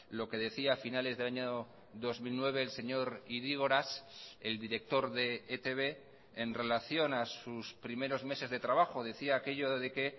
lo que decía a finales del año dos mil nueve el señor idígoras el director de etb en relación a sus primeros meses de trabajo decía aquello de que